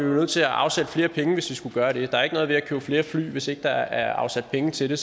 nødt til at afsætte flere penge hvis vi skulle gøre det der er ikke noget ved at købe flere fly hvis ikke der er afsat penge til det